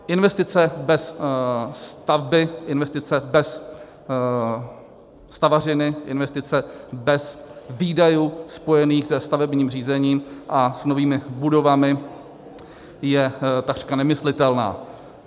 Investice bez stavby, investice bez stavařiny, investice bez výdajů spojených se stavebním řízením a s novými budovami je takřka nemyslitelná.